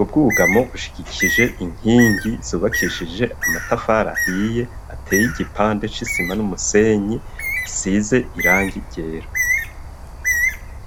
ubwugamo bushigikije inkingi zubakishije amatafari ahiye ateye igipande cisima n'umusenyi size irangi ryera.